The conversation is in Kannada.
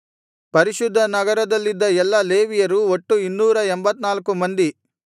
ಪರಿಶುದ್ಧ ನಗರದಲ್ಲಿದ್ದ ಎಲ್ಲಾ ಲೇವಿಯರು ಒಟ್ಟು ಇನ್ನೂರ ಎಂಭತ್ತನಾಲ್ಕು ಮಂದಿ